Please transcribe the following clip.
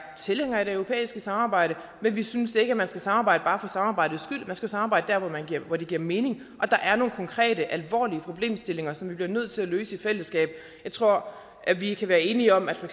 tilhængere af det europæiske samarbejde men vi synes ikke man skal samarbejde bare for samarbejdets skyld man skal samarbejde der hvor det giver mening der er nogle konkrete og alvorlige problemstillinger som vi bliver nødt til at løse i fællesskab jeg tror vi kan være enige om at for